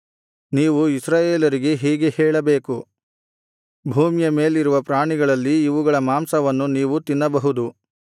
ನೀವು ಇಸ್ರಾಯೇಲರಿಗೆ ಹೀಗೆ ಹೇಳಬೇಕು ಭೂಮಿಯ ಮೇಲಿರುವ ಪ್ರಾಣಿಗಳಲ್ಲಿ ಇವುಗಳ ಮಾಂಸವನ್ನು ನೀವು ತಿನ್ನಬಹುದು